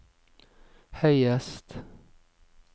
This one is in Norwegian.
høyest